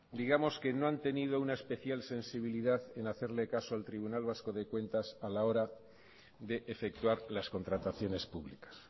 digamos que no han tenido una especial sensibilidad en hacerle caso al tribunal vasco de cuentas a la hora de efectuar las contrataciones públicas